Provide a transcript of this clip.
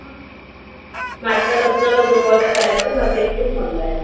माझ्या लग्नाला दोन वर्ष झालेना गं माझं एकविस मधलं आहे.